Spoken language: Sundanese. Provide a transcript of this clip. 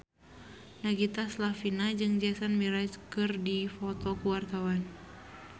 Nagita Slavina jeung Jason Mraz keur dipoto ku wartawan